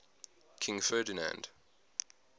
king ferdinand